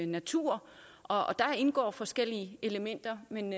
natur der indgår forskellige elementer men